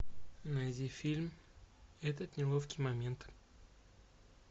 найди фильм этот неловкий момент